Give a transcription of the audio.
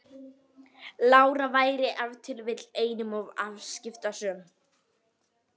Lára væri ef til vill einum of afskiptasöm.